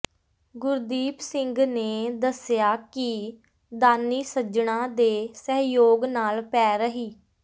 ਗੁਰਦੀਪ ਸਿੰਘ ਨੇ ਦੱਸਿਆ ਕਿ ਦਾਨੀ ਸੱਜਣਾਂ ਦੇ ਸਹਿਯੋਗ ਨਾਲ ਪੈ ਰਹੀ